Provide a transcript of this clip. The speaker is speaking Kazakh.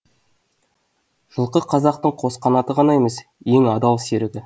жылқы қазақтың қос қанаты ғана емес ең адал серігі